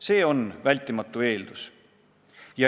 See on vältimatu eeldus.